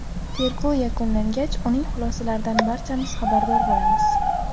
Tergov yakunlangach, uning xulosalaridan barchamiz xabardor bo‘lamiz.